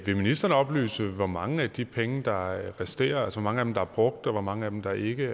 vil ministeren oplyse hvor mange af de penge der resterer altså hvor mange af dem er brugt og hvor mange af dem er ikke